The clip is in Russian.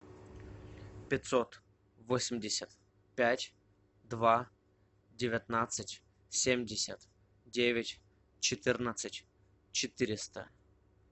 пятьсот восемьдесят пять два девятнадцать семьдесят девять четырнадцать четыреста